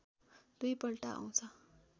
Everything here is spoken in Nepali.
दुई पल्ट आउँछ